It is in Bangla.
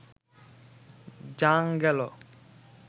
যাঃ গেল